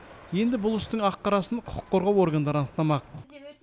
енді бұл істің ақ қарасын құқық қорғау органдары анықтамақ